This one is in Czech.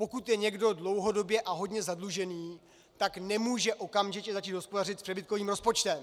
Pokud je někdo dlouhodobě a hodně zadlužený, tak nemůže okamžitě začít hospodařit s přebytkovým rozpočtem.